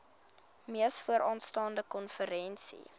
mees vooraanstaande konferensie